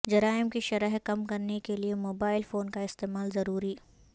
جرائم کی شرح کم کرنے کیلئے موبائل فون کا استعمال ضروری